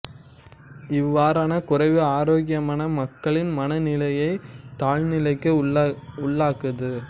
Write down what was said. இவ்வாறான குறைவு ஆரோக்கியமான மக்களின் மன நிலையைத் தாழ்நிலைக்கு உள்ளாக்காது